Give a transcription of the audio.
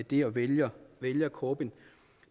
det og vælger vælger corbyn